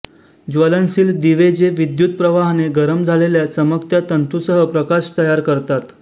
ज्वलनशील दिवेजे विद्युत प्रवाहाने गरम झालेल्या चमकत्या तंतुसह प्रकाश तयार करतात